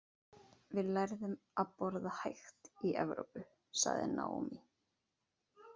Við lærðum að borða hægt í Evrópu, sagði Naomi.